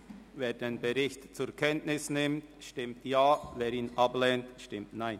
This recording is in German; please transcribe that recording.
Wer den Bericht zur Kenntnis nimmt, stimmt Ja, wer dies ablehnt, stimmt Nein.